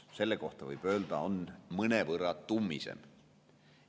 Selle kohta võib öelda, et see on mõnevõrra tummisem.